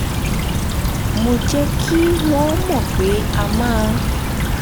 mo jẹ́ kí wọ́n mọ̀ pé a máa